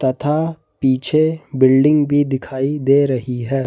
तथा पीछे बिल्डिंग भी दिखाई दे रही है।